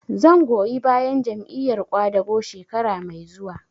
Zan goyi bayan Jam'iyar ƙwadago shekara mai zuwa